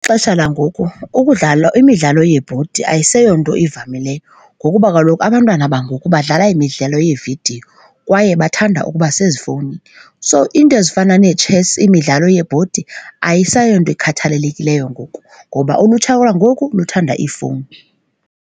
Ixesha langoku ukudlala imidlalo yeebhodi ayiseyonto ivamileyo ngokuba kaloku abantwana bangoku badlala imidlalo yeevidiyo kwaye bathanda ukuba sezifowuni. So iinto ezifana netshesi imidlalo yebhodi ayiseyonto ikhathalelekileyo ngoku ngoba ulutsha lwangoku luthanda iifowuni.